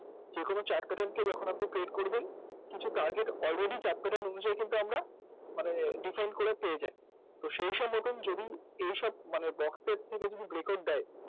যেকোনো chart pattern কে যখন আপনি paid করবেন কিছু target already chart pattern অনুযায়ী কিন্তু আমরা মানে defend করে পেয়ে যাই সেইসবরকম যদি সেইসব box এর থেকে যদি breakout দেয়